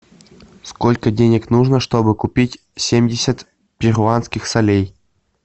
сколько денег нужно чтобы купить семьдесят перуанских солей